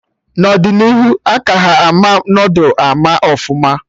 N'ọdịnihu a ka ha ama noodul ama ọfụma